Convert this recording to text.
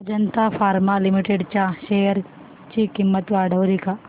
Ajanta pharma limited च्या share ची किंमत वाढली का